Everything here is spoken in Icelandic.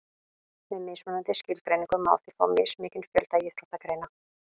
með mismunandi skilgreiningum má því fá mismikinn fjölda íþróttagreina